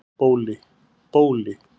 Bóli